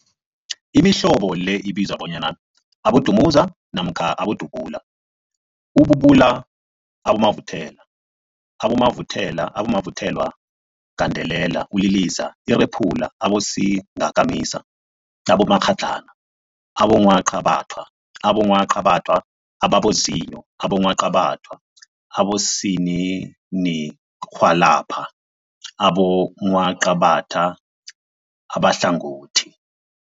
Imihlobo le ibizwa bona, abodumuza namkha abodubula, ububula, abomavuthelwa, abomavuthelwagandelela, uliliza, urephula, abosingakamisa, abomakghadlana, abongwaqabathwa, abongwaqabathwa ababozinyo, abongwaqabathwa abosininirhwalabha nabongwaqabatha abahlangothi.